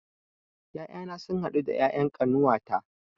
Ƴaƴana sun haɗu da ƴaƴan ƙanuwata